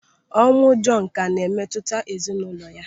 Ọnwụ Jọnu ka na-ewute ezinaụlọ ya.